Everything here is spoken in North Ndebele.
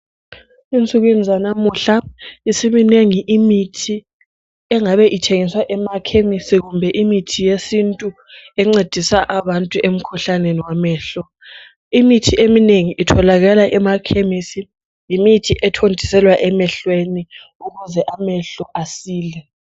Ensukwini zalamuhla siminengi imithi ethengiswayo etholalakala emakhemisi , imithi yamehlo itholakala khona eyokuthontisela amehlo .